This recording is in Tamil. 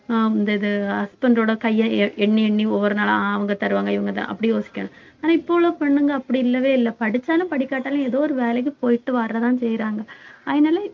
அஹ் இந்த இது husband ஓட கையை எ~ எண்ணி எண்ணி ஒவ்வொரு நாளா அவங்க தருவாங்க இவங்கதான் அப்படி யோசிக்கணும் ஆனா இப்பல்லாம் பொண்ணுங்க அப்படி இல்லவே இல்லை படிச்சாலும் படிக்காட்டாலும் ஏதோ ஒரு வேலைக்கு போயிட்டு வர்றதுதான் செய்யறாங்க அதனால